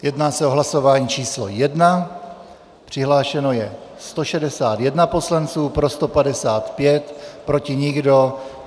Jedná se o hlasování číslo 1, přihlášeno je 161 poslanců, pro 155, proti nikdo.